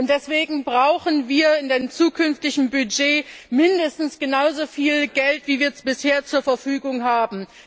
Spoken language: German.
Deswegen brauchen wir in dem zukünftigen Budget mindestens genauso viel Geld, wie wir es bisher zur Verfügung haben.